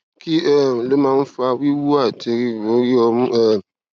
kí um ló máa ń fa wiwu àti riro ori omu um